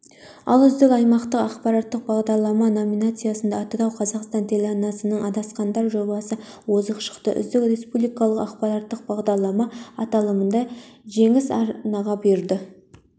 ал үздік аймақтық ақпараттық бағдарлама номинациясында атырау-қазақстан телеарнасының адасқандар жобасы озық шықты үздік республикалық ақпараттық бағдарлама аталымында жеңіс арнаға бұйырды